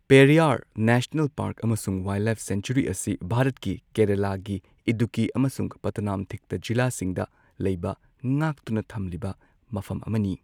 Periyar national park ꯑꯃꯁꯨꯡ wildlife sanctuary ꯑꯁꯤ ꯚꯥꯔꯠꯀꯤ ꯀꯦꯔꯂꯥꯒꯤ ꯏꯗꯨꯛꯀꯤ ꯑꯃꯁꯨꯡ ꯄꯊꯅꯥꯝꯊꯤꯠꯇ ꯖꯤꯂꯥꯁꯤꯡꯗ ꯂꯩꯕ ꯉꯥꯛꯇꯨꯅ ꯊꯝꯂꯤꯕ ꯃꯐꯝ ꯑꯃꯅꯤ꯫